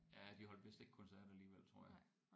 Ja de holdt vist ikke koncert alligevel tror jeg